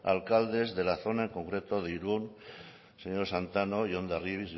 alcaldes de la zona en concreto de irun señor santano y hondarribia